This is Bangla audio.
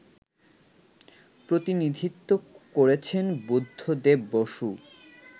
প্রতিনিধিত্ব করেছেন বুদ্ধদেব বসু